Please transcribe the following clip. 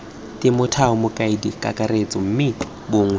temothuo mokaedi kakaretso mme bongiwe